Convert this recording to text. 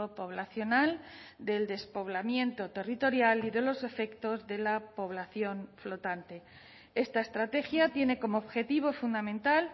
poblacional del despoblamiento territorial y de los efectos de la población flotante esta estrategia tiene como objetivo fundamental